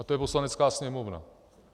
A to je Poslanecká sněmovna.